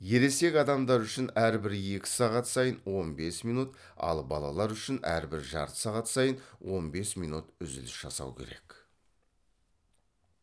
ересек адамдар үшін әрбір екі сағат сайын он бес минут ал балалар үшін әрбір жарты сағат сайын он бес минут үзіліс жасау керек